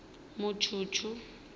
mutshutshu